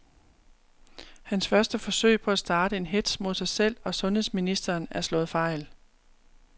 Hans første forsøg på at starte en hetz mod sig selv og sundheds ministeren er slået fejl.